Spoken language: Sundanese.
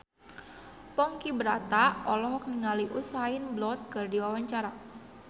Ponky Brata olohok ningali Usain Bolt keur diwawancara